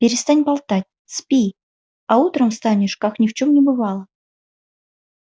перестань болтать спи а утром встанешь как ни в чём не бывало